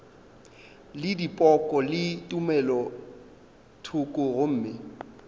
le dipoko le tumelothoko gomme